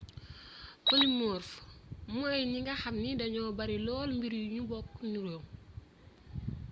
polymorphe mooy ñi nga xamni dañu bari lool mbir yu ñu bokk nuróo